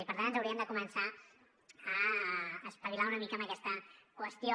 i per tant ens hauríem de començar a espavilar una mica amb aquesta qüestió